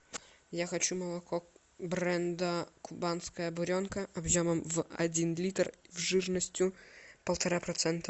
я хочу молоко бренда кубанская буренка объемом в один литр жирностью полтора процента